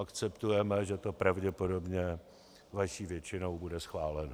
Akceptujeme, že to pravděpodobně vaší většinou bude schváleno.